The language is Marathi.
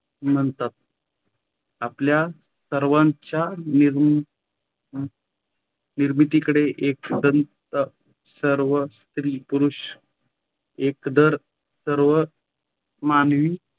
म्हणतात आपल्या सर्वांच्य निर निर्मिती कळे एकंदर सर्व स्त्री - पुरुषांस एकंदर सर्व मानवी